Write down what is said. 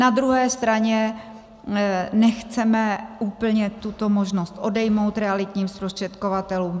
Na druhé straně nechceme úplně tuto možnost odejmout realitním zprostředkovatelům.